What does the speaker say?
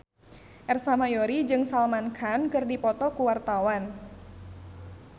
Ersa Mayori jeung Salman Khan keur dipoto ku wartawan